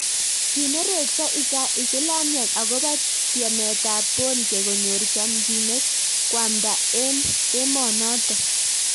Kinereksoo isilamiek akopoo tiemet ap Boonke konyor chamchinet koamdaa eng emonotok